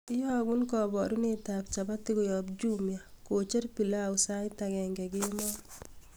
iyogun koborunet ab japati koyop jumia kocher pilau sait agenge kemoi